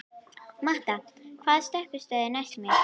Matta, hvaða stoppistöð er næst mér?